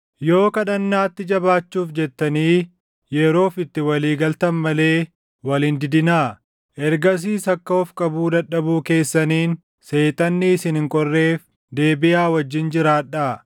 Yoo kadhannaatti jabaachuuf jettanii yeroof itti walii galtan malee wal hin didinaa. Ergasiis akka of qabuu dadhabuu keessaniin Seexanni isin hin qorreef deebiʼaa wajjin jiraadhaa.